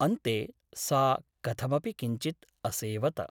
अन्ते सा कथमपि किञ्चित् असेवत ।